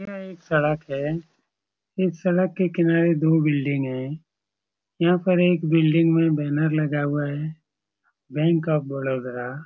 यह एक सड़क है इस सड़क के किनारे दो बिल्डिंग हैं यहाँ पर एक बिल्डिंग में बैनर लगा हुआ है बैंक ऑफ़ बरोदा ।